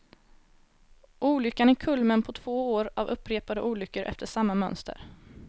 Olyckan är kulmen på två år av upprepade olyckor efter samma mönster.